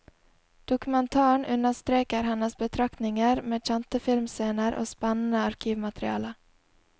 Dokumentaren understreker hennes betraktninger med kjente filmscener og spennende arkivmateriale.